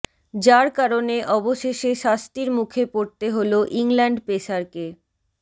যার কারণে অবশেষে শাস্তির মুখে পড়তে হল ইংল্যান্ড পেসারকে